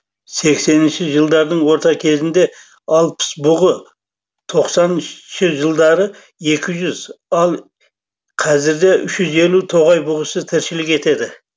сексенінші жылдардың орта кезінде алпыс бұғы тоқсаныншы жылдары екім жүз ал қазірде үш жүз елу тоғай бұғысы тіршілік етеді